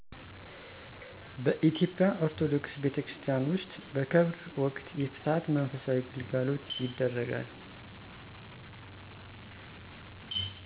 በኢትዮጵያ ኦርቶዶክስ ቤተክርስቲያን ውስጥ በቀብር ወቅት የፍትሀት መንፈሳዊ ግልጋሎት ይደረጋል።